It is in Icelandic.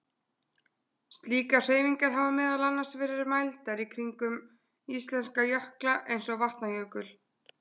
slíkar hreyfingar hafa meðal annars verið mældar kringum íslenska jökla eins og vatnajökul